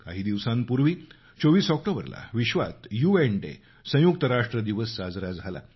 काही दिवसांपूर्वी 24 ऑक्टोबरला जगभरात यूएन डे संयुक्त राष्ट्र दिवस साजरा झाला